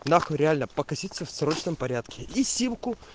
на хуй реально покоситься в срочном порядке и симку